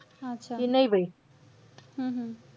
अच्छा. हम्म हम्म